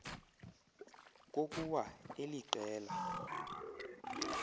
kokua eli qela